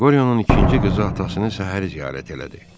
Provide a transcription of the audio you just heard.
Qoryonun ikinci qızı atasını səhəri ziyarət elədi.